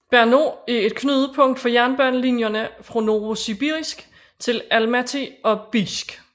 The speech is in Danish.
Barnaul er et knudepunkt for jernbanelinjerne fra Novosibirsk til Almaty og Bijsk